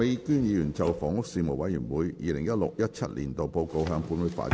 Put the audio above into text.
麥美娟議員就"房屋事務委員會 2016-2017 年度報告"向本會發言。